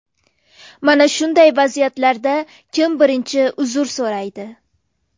Mana shunday vaziyatlarda kim birinchi uzr so‘raydi?